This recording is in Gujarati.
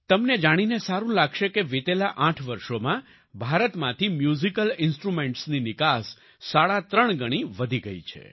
તમને જાણીને સારું લાગશે કે વિતેલા 8 વર્ષોમાં ભારતમાંથી મ્યુઝિકલ ઈન્સ્ટ્રુમેન્ટ્સની નિકાસ સાડા ત્રણ ગણી વધી ગઈ છે